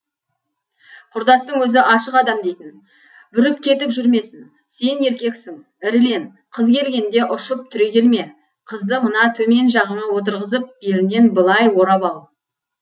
құрдастың өзі ашық адам дейтін бүріп кетіп жүрмесін сен еркексің ірілен қыз келгенде ұшып түрегелме қызды мына төмен жағыңа отырғызып белінен былай орап ал